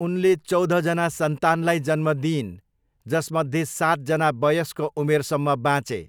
उनले चौधजना सन्तानलाई जन्म दिइन्, जसमध्ये सातजना वयस्क उमेरसम्म बाँचे।